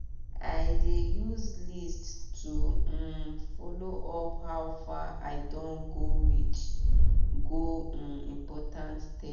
i dey use list to um follow up how far i don go reach go um important step